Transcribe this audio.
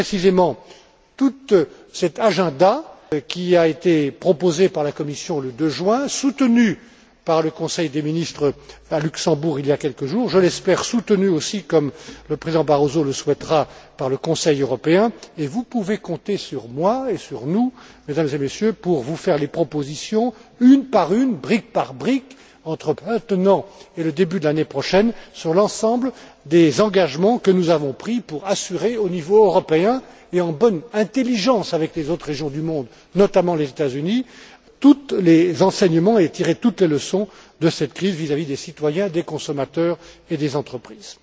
C'est précisément tout cet agenda qui a été proposé par la Commission le 2 juin, soutenu par le Conseil des ministres à Luxembourg il y a quelques jours, soutenu aussi je l'espère, comme le président Barroso le souhaitera, par le Conseil européen, et vous pouvez compter sur moi et sur nous, Mesdames et Messieurs, pour vous faire des propositions, une par une, brique par brique, entre maintenant et le début de l'année prochaine, sur l'ensemble des engagements que nous avons pris, pour tirer, au niveau européen et en bonne intelligence avec les autres régions du monde, notamment les États Unis, tous les enseignements et toutes les leçons de cette crise vis à vis des citoyens, des consommateurs et des entreprises.